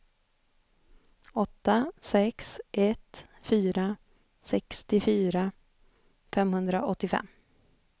åtta sex ett fyra sextiofyra femhundraåttiofem